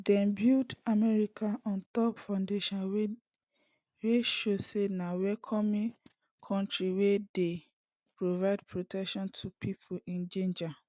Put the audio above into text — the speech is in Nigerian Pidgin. dem build america on top foundation wey show say na welcoming kontri wey dey provide protection to pipo in danger